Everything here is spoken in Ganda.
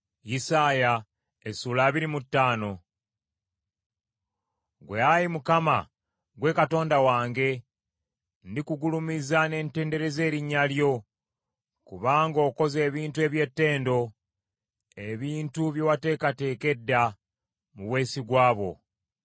Ggwe, Ayi Mukama , gwe Katonda wange; ndikugulumiza ne ntendereza erinnya lyo, kubanga okoze ebintu eby’ettendo, ebintu bye wateekateeka edda, mu bwesigwa bwo.